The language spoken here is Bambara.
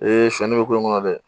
sɔɔni bɛ ko in kɔnɔ dɛ